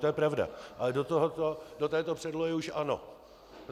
To je pravda - ale do této předlohy už ano.